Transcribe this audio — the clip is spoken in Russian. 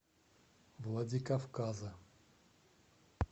владикавказа